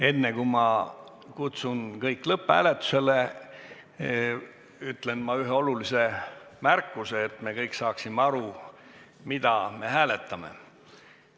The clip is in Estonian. Enne, kui ma kutsun kõik lõpphääletusele, ütlen aga ühe olulise märkuse, et me kõik saaksime aru, mida me hääletame.